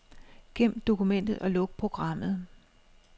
Gem dokumentet og luk programmet.